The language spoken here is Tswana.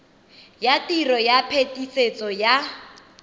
ya tiro ya phetisetso ya